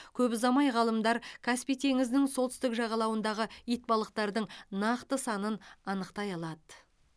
көп ұзамай ғалымдар каспий теңізінің солтүстік жағалауындағы итбалықтардың нақты санын анықтай алады